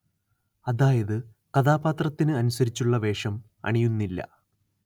അതായത് കഥാപാത്രത്തിനു അനുസരിച്ചുള്ള വേഷം അണിയുന്നില്ല